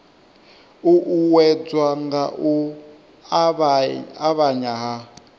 uuwedzwa nga u avhanya ha